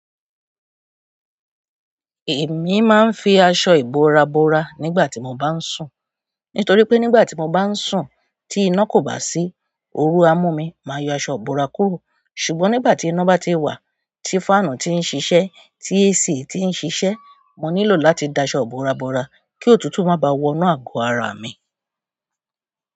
Èmi máa ń fi aṣọ ìbora bora nígbà tí mo bá ń sùn. Nítorí pé nígbà tí mo bá ń sùn tí iná kò bá sí, òru á mú mi, màá yọ aṣọ ìbora kúrò. Ṣùgbọ́n nígbà tí iná bá ti wà, tí fáànù ti ń ṣiṣẹ́, tí AC ti ń ṣiṣẹ́, mo nílò láti da aṣọ ìbora bora kí òtútù má bá wọnú àgọ́ ara mi.